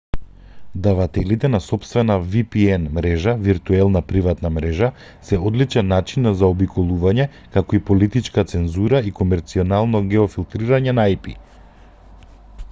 давателите на сопствена vpn-мрежа виртуелна приватна мрежа се одличен начин на заобиколување како и политичка цензура и комерцијално геофилтрирање на ip